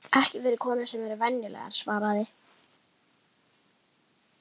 Ekki fyrir konur sem eru venjulegar, svaraði